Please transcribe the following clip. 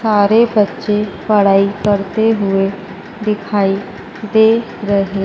सारे बच्चे पढ़ाई करते हुए दिखाई दे रहे।